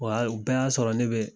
Wa hali u bɛɛ y'a sɔrɔ ne be